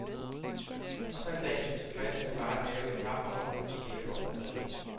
Og så en dag er du tilfreds med bare at have et parforhold, der fungerer på overfladen.